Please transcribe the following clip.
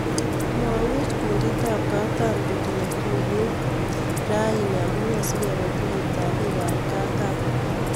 Mwaywech kundit ap Kataam kotinye tuyet. kaini amunee singepee tuyet ap bik ap kataam